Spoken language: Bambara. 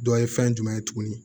Dɔ ye fɛn jumɛn ye tuguni